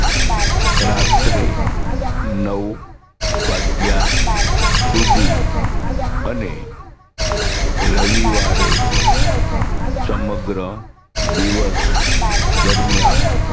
રાત્રે નવ વાગ્યા સુધી અને રવિવારે સમગ્ર દિવસ દરમિયાન